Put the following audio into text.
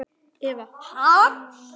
Eva: Ha?